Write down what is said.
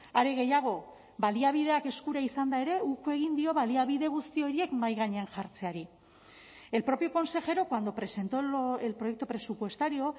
are gehiago baliabideak eskura izanda ere uko egin dio baliabide guzti horiek mahai gainean jartzeari el propio consejero cuando presentó el proyecto presupuestario